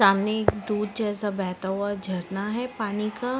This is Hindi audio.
सामने एक दूध जैसा बहता हुआ झरना हैं पानी का--